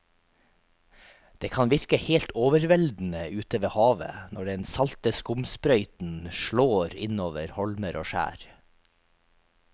Det kan virke helt overveldende ute ved havet når den salte skumsprøyten slår innover holmer og skjær.